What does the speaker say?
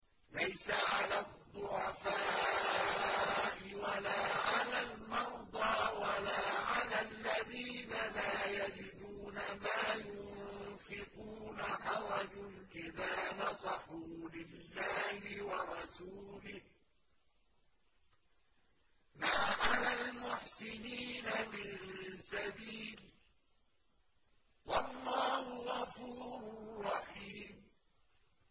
لَّيْسَ عَلَى الضُّعَفَاءِ وَلَا عَلَى الْمَرْضَىٰ وَلَا عَلَى الَّذِينَ لَا يَجِدُونَ مَا يُنفِقُونَ حَرَجٌ إِذَا نَصَحُوا لِلَّهِ وَرَسُولِهِ ۚ مَا عَلَى الْمُحْسِنِينَ مِن سَبِيلٍ ۚ وَاللَّهُ غَفُورٌ رَّحِيمٌ